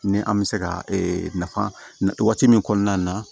Ni an bɛ se ka ee nafa min kɔnɔna na